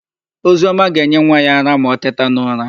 Oziọma ga-enye nwa ya ara ma o teta n'ụra.